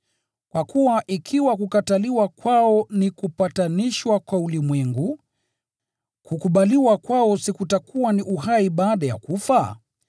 Kwa kuwa ikiwa kukataliwa kwao ni kupatanishwa kwa ulimwengu, kukubaliwa kwao si kutakuwa ni uhai baada ya kufa?